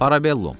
Parabellum.